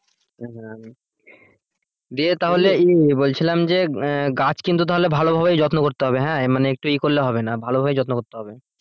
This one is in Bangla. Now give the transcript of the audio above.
হ্যাঁ দিয়ে তাহলে বলছিলাম যে গাছ কিন্তু তাহলে ভালোভাবে যত্ন করতে হবে হ্যাঁ মানে একটু ইয়ে করলে হবে না ভালোভাবে যত্ন করতে হবে l।